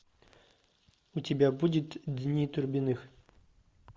у тебя будет дни турбиных